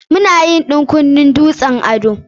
Mu na yin ɗan kunnen dutsen ado.